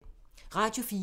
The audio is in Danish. Radio 4